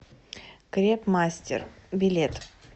крепмастер билет